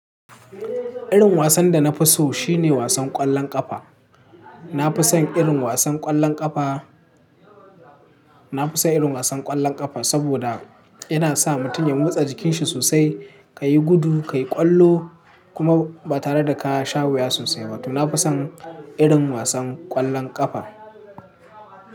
Irin wasan da na fi so shine wasan ƙwallon ƙafa. Na fi son irin wasan ƙwallon ƙafa, na fi son irin wasan ƙwallon ƙafa saboda yana sa mutum ya motsa jikin shi sosai, ka yi gudu, ka yi ƙwallo kuma ba tare da ka sha wuya sosai ba. To, na fi son irin wasan ƙwallon ƙafa.